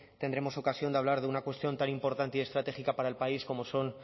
tendremos ocasión de hablar de una cuestión tan importante y estratégica para el país como son